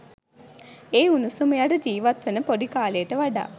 ඒ උණුසුම යට ජීවත්වන පොඩි කාලෙට වඩා.